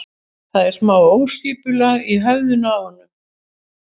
Það er smá óskipulag í höfðinu á honum.